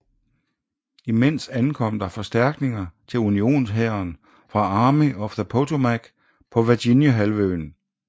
Imens ankom der forstærkninger til unionshæren fra Army of the Potomac på Virginia halvøen